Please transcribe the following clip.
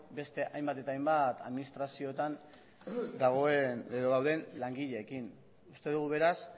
beste hainbat eta hainbat administraziotan dauden langileekin uste dugu beraz